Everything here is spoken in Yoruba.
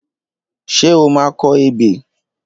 Ṣé o máa kọ ebè?